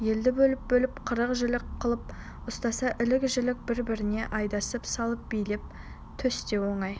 елді бөліп-бөліп қырық жілік қылып ұстаса ілік-жілік бір-біріне айдап салып билеп-төстеу оңай